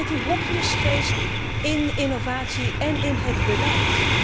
Weg met die hokjesgeest in innovatie en in het beleid.